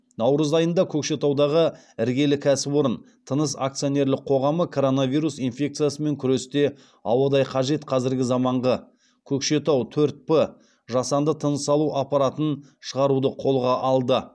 наурыз айында көкшетаудағы іргелі кәсіпорын тыныс акционерлік қоғамы коронавирус инфекциясымен күресте ауадай қажет қазіргі заманғы көкшетау төрт п жасанды тыныс алу аппаратын шығаруды қолға алды